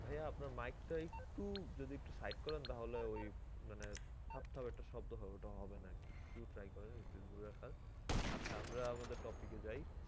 ভাইয়া আপনার mike টা একটু যদি একটু side করেন তাহলে ওই মানে ধাপ ধাপ একটা শব্দ হয় ওইটা আর হবেনা আরকি একটু try করেন একটু দূরে রাখার আচ্ছা আমরা আমাদের topic যাই